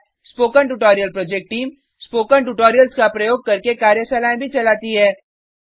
spoken tutorial project team spoken tutorial का उपयोग करके कार्यशालाएँ भी चलाती है